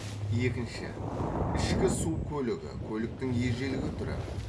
екінші ішкі су көлігі көліктің ежелгі түрі